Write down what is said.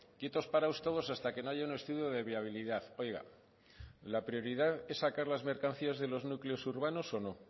quietos parados todos hasta que no haya un estudio de viabilidad oiga la prioridad es sacar las mercancías de los núcleos urbanos o no